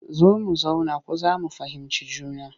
Zo mu zauna ko za mu fahimci juna